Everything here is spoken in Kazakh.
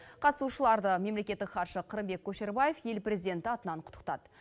қатысушыларды мемлекеттік хатшы қырымбек көшербаев ел президенті атынан құттықтады